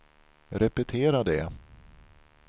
repetera det